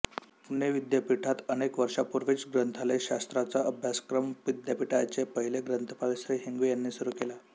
पुणे विद्यापीठात अनेक वर्षांपूर्वीच ग्रंथालयशास्त्राचा अभ्यासक्रम विद्यापीठाचे पहिले ग्रंथपाल श्री हिंगवे यांनी सुरू केला